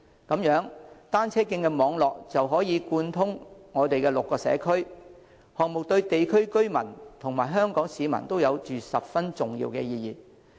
這樣，單車徑網絡便可貫通6區，項目對地區居民及香港市民都有着十分重要的意義。